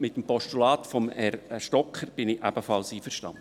Mit dem Postulat von Herrn Stocker bin ich ebenfalls einverstanden.